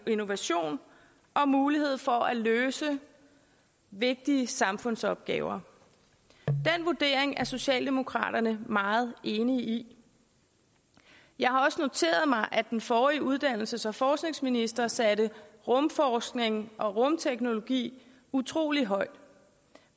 innovation og mulighed for at løse vigtige samfundsopgaver den vurdering er socialdemokraterne meget enige i jeg har også noteret mig at den forrige uddannelses og forskningsminister satte rumforskning og rumteknologi utrolig højt